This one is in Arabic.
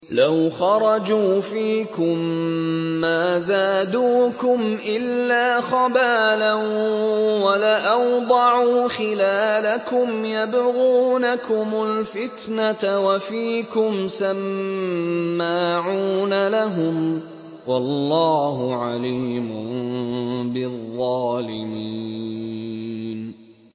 لَوْ خَرَجُوا فِيكُم مَّا زَادُوكُمْ إِلَّا خَبَالًا وَلَأَوْضَعُوا خِلَالَكُمْ يَبْغُونَكُمُ الْفِتْنَةَ وَفِيكُمْ سَمَّاعُونَ لَهُمْ ۗ وَاللَّهُ عَلِيمٌ بِالظَّالِمِينَ